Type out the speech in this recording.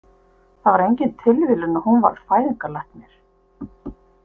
Það er engin tilviljun að hún varð fæðingarlæknir.